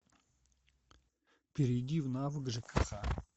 перейди в навык жкх